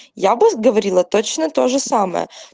я вас говорила точно тоже самое